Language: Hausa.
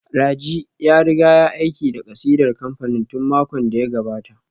Raji ya riga ya aika da kasidar kamfanin tun makon da ya gabata